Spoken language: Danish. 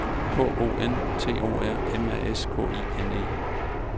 K O N T O R M A S K I N E